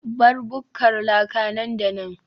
bar bukkar laka nan da nan